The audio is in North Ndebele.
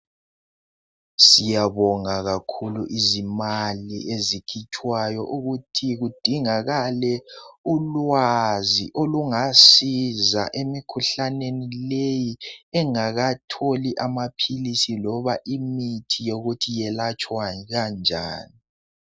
Siyabonga kakhulu izimali ezikhitshwayo ukuthi kudingakale ulwazi olungasiza emikhuhlaneni leyi engakatholi amaphilisi loba imithi yokuthi yelatshwa njani